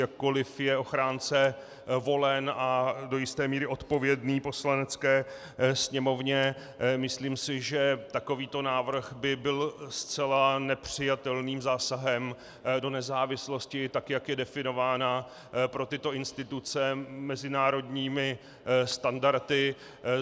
Jakkoli je ochránce volen a do jisté míry odpovědný Poslanecké sněmovně, myslím si, že takovýto návrh by byl zcela nepřijatelným zásahem do nezávislosti, tak jak je definována pro tyto instituce mezinárodními standardy.